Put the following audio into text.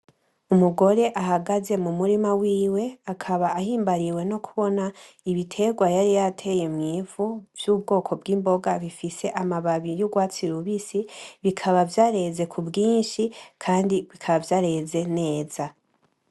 Umugore ahagaze mumurima wiwe akaba ahimbariwe no kubona ibiterwa yari yateye mwivu vy'ubwoko bw'imboga bifise amababi y'urwatsi rubisi, bikaba vyareze kubwinshi kandi bikaba vyareze neza.